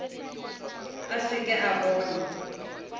a se ke a bona